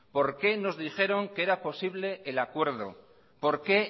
por qué nos dijeron que era posible el acuerdo por qué